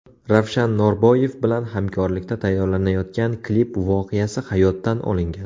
Ravshan Norboyev bilan hamkorlikda tayyorlanayotgan klip voqeasi hayotdan olingan.